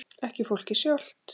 Ekki fólkið sjálft.